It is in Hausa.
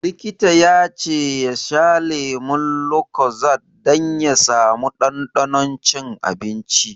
Likita ya ce ya sha lemun lucozade dan ya sa mu ɗanɗanon cin abinci.